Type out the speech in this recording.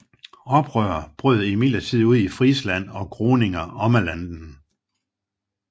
Oprør brød imidlertid ud i Friesland og Groninger Ommelanden